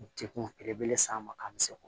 Degun belebele s'an ma k'an misɛnku